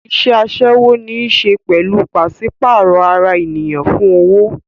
Iṣẹ́ aṣẹ́wó ní í ṣe pẹ̀lú pàṣípààrọ̀ ara ènìyàn fún owó